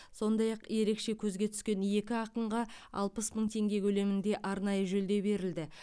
сондай ақ ерекше көзге түскен екі ақынға алпыс мың теңге көлемінде арнайы жүлде берілді